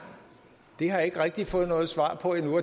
det har jeg ikke rigtig fået noget svar på endnu